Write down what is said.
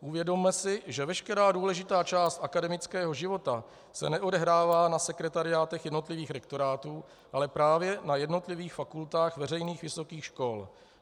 Uvědomme si, že veškerá důležitá část akademického života se neodehrává na sekretariátech jednotlivých rektorátů, ale právě na jednotlivých fakultách veřejných vysokých škol.